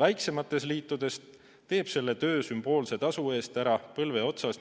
Väiksemates liitudes teeb selle töö sümboolse tasu eest ära, n‑ö põlve otsas,